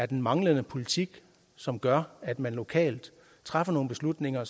den manglende politik som gør at man lokalt træffer nogle beslutninger